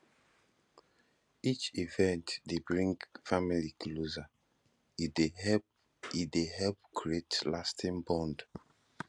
each event dey bring family closer e dey help e dey help create lasting bonds